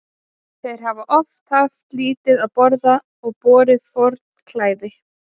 Þeir hafa oft haft lítið að borða og borið forn klæði.